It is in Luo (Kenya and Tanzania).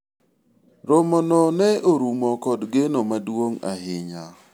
romo no ne orumo kod geno maduong' ahinya